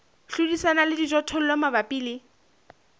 hlodisana le dijothollo mabapi le